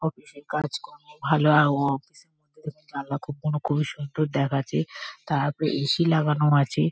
Office -এ কাজ করে। ভালো আ ও অফিস -এর ভেতরে জানলাগুলো খুবই সুন্দর দেখাচ্ছে। তারপরে এ.সি. লাগানো আছে।